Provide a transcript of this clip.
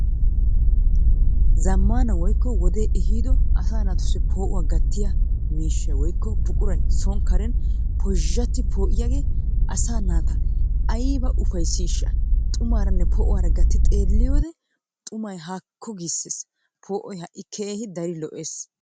Zammaana woykko wodee ehiido asaa naatussi poo'uwa gattiya miishshay woyikko buquray son Karen pozhzhati poo'iyagee asaa naata ayiba ufayissiisha! Xumaaranne poo'uwara gatti xeelliyode xumay haakko giisses. Poo'oy ha'i keehi dari lo'ees.